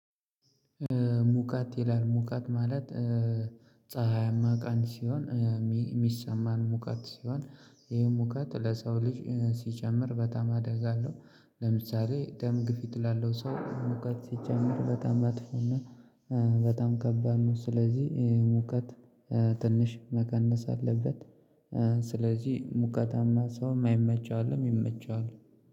ሙቀት ይላል ሙቃት ማለት። ፀሀያማ ቀን ሲሆን የሚሰማን ሙቃት ሲሆን ይሄ ሙቀት ለሰው ልጅ ሲጨምር በጣም አደጋለሁ። ለምሳሌ ደም ግፊት ላለው ሰው ሙከት ሲጨምር በጣም መጥፎና በጣም ከባድ ነው። ስለዚህ ሙቀት ትንሽ መቀነስ አለበት። ስለዚህ ሙቀታማ ሰው እማይመቸው አለ እሚመቸው አለ